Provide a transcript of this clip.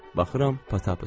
Baxıram, Patappıçdı.